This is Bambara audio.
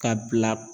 Ka bila